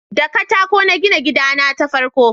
da katako na gina gida na ta farko